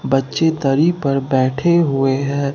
बच्चे दरी पर बैठे हुए हैं।